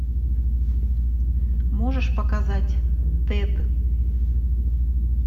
можешь показать тэд